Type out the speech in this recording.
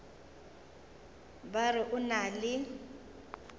ba re o na le